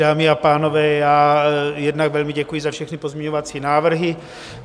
Dámy a pánové, já jednak velmi děkuji za všechny pozměňovací návrhy.